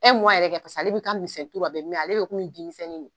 yɛrɛ paseke ale bi ka misɛn bɛ mɛn, ale bi komi bingisɛnin ne.